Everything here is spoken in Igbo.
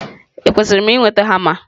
Ekwesịrị m ị nweta hama?